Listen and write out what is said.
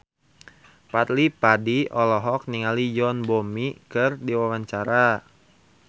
Fadly Padi olohok ningali Yoon Bomi keur diwawancara